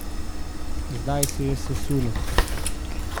Zdaj se je sesulo!